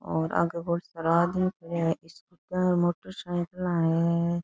और आगे भोळा सारा आदमी खड़ा है घर मोटर साइकिलान है।